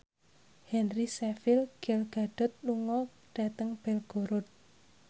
Henry Cavill Gal Gadot lunga dhateng Belgorod